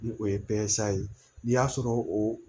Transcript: Ni o ye ye n'i y'a sɔrɔ o